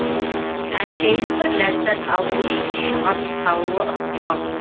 әншейін бір ләззат алуы үшін шаға салуы ықтимал